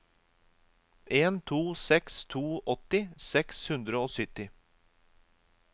en to seks to åtti seks hundre og sytti